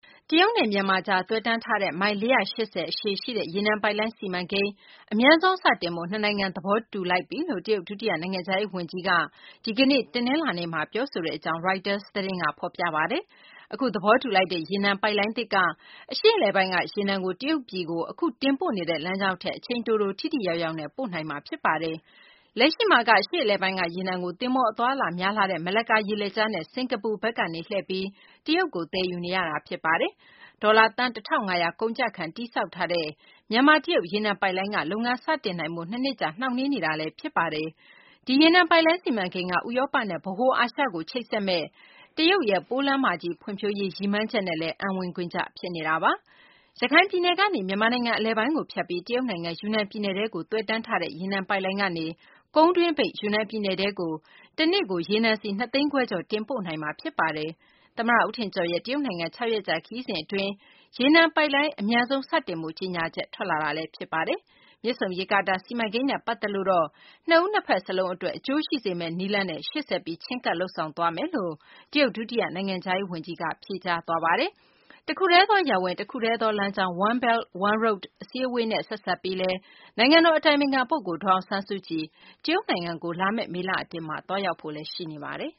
တရုတ်နဲ့ မြန်မာကြား သွယ်တန်းထားတဲ့ မိုင် ၄၈၀ အရှည်ရှိတဲ့ ရေနံပိုက်လိုင်း စီမံကိန်းကို အမြန်ဆုံး စတင်ဖို့ နှစ်နိုင်ငံ သဘောတူညီခဲ့တယ်လို့ တရုတ် ဒုတိယ နိုင်ငံခြားရေး ဝန်ကြီး Liu Zhenmin က ဒီကနေ့ တနလာၤနေ့ ပြောဆိုကြောင်း Reuters သတင်းဌာနက ဖော်ပြပါတယ်။ အခု သဘောတူလိုက်တဲ့ ရေနံပိုက်လိုင်းသစ်က အရှေ့အလယ်ပိုင်းက ရေနံကို တရုတ်ပြည်ကို အခု တင်ပို့နေတဲ့ လမ်းကြောင်းထက် အချိန်တိုတို ထိထိရောက်ရောက်နဲ့ ပို့နိုင်မှာပါ။ လက်ရှိမှာက အရှေ့အလယ်ပိုင်းက ရေနံကို သဘောၤအသွားအလာများလှတဲ့ မလက္ကာ ရေလက်ကြားနဲ့ စကာၤပူဘက်ကနေ လှည့်ပြီး တရုတ်ကို သယ်ယူနေရတာ ဖြစ်ပါတယ်။ ဒေါ်လာ သန်း ၁၅၀၀ ကုန်ကျခံ တည်ဆောက်ထားတဲ့ မြန်မာ - တရုတ် ရေနံပိုက်လိုင်းက လုပ်ငန်း စတင်နိုင်ဖို့ ၂ နှစ်ကြာ နှောင့်နှေးနေတာ ဖြစ်ပါတယ်။ ဒီရေနံပိုက်လိုင်း စီမံကိန်းက ဥရောပနဲ့ ဗဟိုအာရှကို ချိတ်ဆက်မယ့် ပိုးလမ်းမကြီး ဖွ့ံ့ဖြိုးရေး တရုတ်ရဲ့ ရည်မှန်းချက်နဲ့ အံဝင်ခွင်ကျ ဖြစ်နေတာပါ။ ရခိုင်ပြည်နယ်ကနေ မြန်မာနိုင်ငံ အလယ်ပိုင်းကို ဖြတ်ပြီး တရုတ်နိုင်ငံ ယူနန်ပြည်နယ်ထဲကို သွယ်တန်းထားတဲ့ ရေနံပိုက်လိုင်းကနေ ကုန်းတွင်းပိတ် ယူနန် ပြည်နယ်ထဲကို တနေ့ကို ရေနံစည် ၂ သိန်းခွဲကျော် တင်ပို့နိုင်မှာ ဖြစ်ပါတယ်။ သမ္မတ ဦးထင်ကျော်ရဲ့ တရုတ်နိုင်ငံ ၆ ရက်ကြာ ခရီးစဉ် အတွင်းမှာ ရေနံပိုက်လိုင်း အမြန်ဆုံး စတင်ဖို့ ကြေညာချက် ထွက်လာတာလည်း ဖြစ်ပါတယ်။ မြစ်ဆုံ ရေကာတာ စီမံကိန်းနဲ့ ပတ်သက်လို့ကတော့ နှစ်ဦး နှစ်ဘက် စလုံး အတွက် အကျိုးရှိစေမယ့် နည်းလမ်းနဲ့ ရှေ့ဆက်ပြီး ချဉ်းကပ် လုပ်ဆောင်သွားမယ်လို့ တရုတ် ဒုတိယ နိုင်ငံခြားရေး ဝန်ကြီးက ဖြေကြားသွားပါတယ်။ တခုတည်းသော ရပ်ဝန်း၊ တခုတည်းသော လမ်းကြောင်း One Belt – One Road အစည်းအဝေးနဲ့ ဆက်စပ်ပြီး နိုင်ငံတော် အတိုင်ပင်ခံ ပုဂ္ဂိုလ် ဒေါ်အောင်ဆန်းစုကြည် တရုတ်နိုင်ငံကို မေလ အတွင်း သွားရောက်ဖို့လည်း ရှိနေပါတယ်